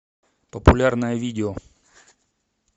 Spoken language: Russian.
популярное видео